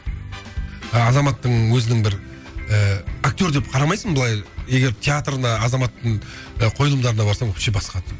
азаматтың өзінің бір ыыы актер деп қарамайсың былай егер театрда азаматтың і қойылымдарына барсаң вообще басқа